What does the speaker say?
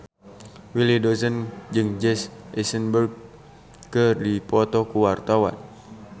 Willy Dozan jeung Jesse Eisenberg keur dipoto ku wartawan